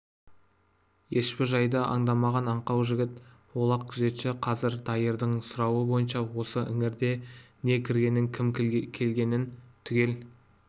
ешбір жайды аңдамаған аңқау жігіт олақ күзетші қазір дайырдың сұрауы бойынша осы іңірде не көргенін кім келгенін түгел